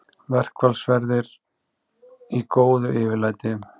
Verkfallsverðir í góðu yfirlæti